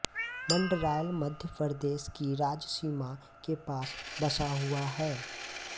मंडरायल मध्य प्रदेश की राज्य सीमा के पास बसा हुआ है